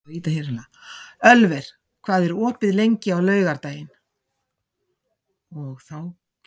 Ölver, hvað er opið lengi á laugardaginn?